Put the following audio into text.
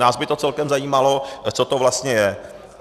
Nás by to celkem zajímalo, co to vlastně je.